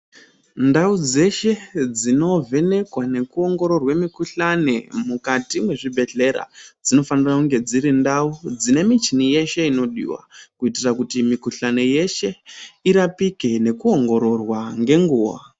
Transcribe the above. Ndau dzeshe dzinovhenekwa nekuwongororwe mikhuhlane mukati mezvibhedhlera, dzinofanira kunge dzirindau dzinemichini yeshe inodiwa, kuyitira kuti mikhuhlane yeshe irapike, nekuwongororwa ngenguwa.